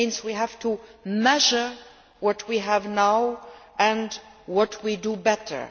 That means we have to measure what we have now and what we do better.